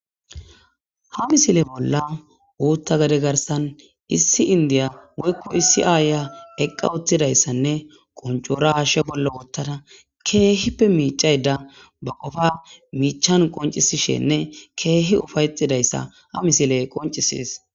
Ha misile bolla utha gade garsan issi indiya woyko issi ayiya eqa utidaysanne qoncora hashe bolla wotada kehipe micayda ba qofa micana qoncisishenne kehi Ufayetidasysa ha misiley qoncises